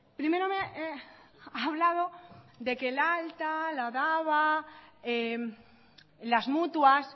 primero me ha hablado de que el alta la daba las mutuas